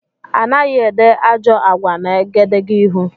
Anaghị ede ajọ àgwà n' egedegeihū.